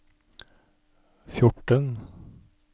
fjorten